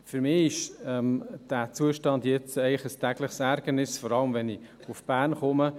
Für mich ist dieser Zustand ein tägliches Ärgernis, vor allem, wenn ich nach Bern fahre.